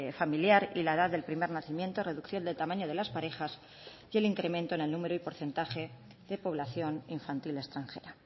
familiar y la edad del primer nacimiento reducción del tamaño de las parejas y el incremento en el número y porcentaje de población infantil extranjera